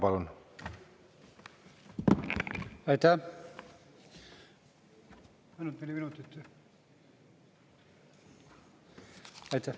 Palun!